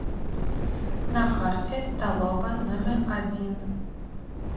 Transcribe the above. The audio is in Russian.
на карте столовая номер один